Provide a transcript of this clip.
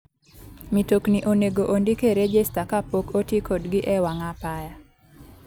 Mitokni onego ondik e rejesta kapok otii kodgi e wang' apaya.